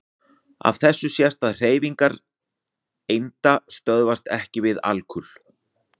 Af þessu sést að hreyfingar einda stöðvast EKKI við alkul.